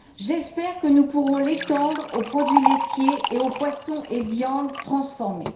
J'espère que nous pourrons l'étendre aux produits laitiers et aux poissons et viandes transformés.